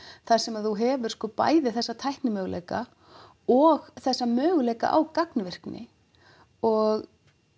þar sem þú hefur bæði þessa tæknimöguleika og þessa möguleika á gagnvirkni og